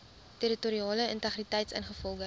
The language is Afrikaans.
territoriale integriteit ingevolge